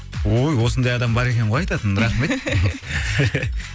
ой осындай адам бар екен ғой айтатын рахмет